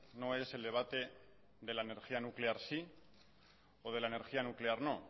no es el debate de la energía nuclear sí o la de la energía nuclear no